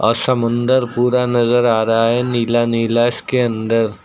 और समुद्र पूरा नजर आ रहा है नीला नीला इसके अंदर।